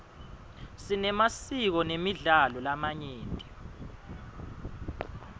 sinemasiko nemidlalo lamanyenti